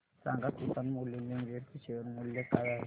सांगा Kisan moulding limited चे शेअर मूल्य काय आहे